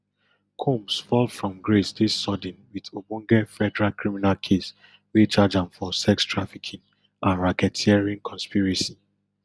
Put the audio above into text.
combs fall from grace dey sudden wit ogbonge federal criminal case wey charge am for sex trafficking and racketeering conspiracy